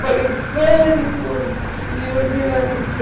Falei, vale por Deus. Deram anistia